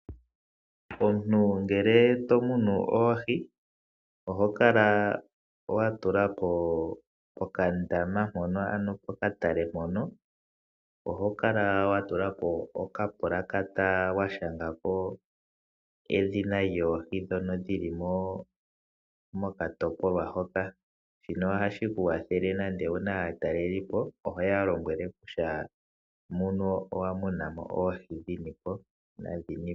Omuntu ngele to munu oohi pokandaama nenge pokatale mpono oho kala wa tula po okapulakata wa shanga po edhina lyoohi ndhoka dhi li mokatopolwa moka. Shino ohashi ku kwathele nande owu na aatalelipo oho ya lombwele kutya moka owa muna mo oohi dhini po.